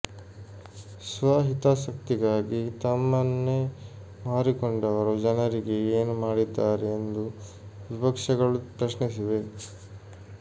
ಸ್ವ ಹಿತಾಸಕ್ತಿಗಾಗಿ ತಮ್ಮನ್ನೇ ಮಾರಿಕೊಂಡವರು ಜನರಿಗೆ ಏನು ಮಾಡಿದ್ದಾರೆ ಎಂದು ವಿಪಕ್ಷಗಳು ಪ್ರಶ್ನಿಸಿವೆ